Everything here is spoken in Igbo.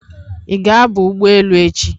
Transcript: Ị ga aba ụgbọelu echi?